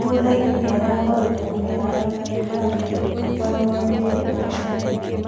Thuthainĩ nĩarahoire mũhera athaki angĩ, arũgamĩrĩri na mashambĩki.